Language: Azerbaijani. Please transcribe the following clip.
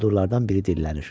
Quldurlardan biri dillənir.